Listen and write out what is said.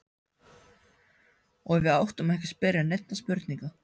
Og við áttum ekki að spyrja neinna spurninga.